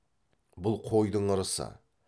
бұл қойдың ырысы